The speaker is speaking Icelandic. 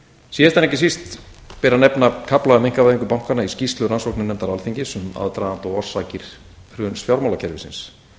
en ekki síst ber að nefna kafla um einkavæðingu bankanna í skýrslu rannsóknarnefndar alþingis um aðdraganda og orsakir hruns fjármálakerfisins